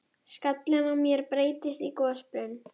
Og hirti ekki um vol systra sinna.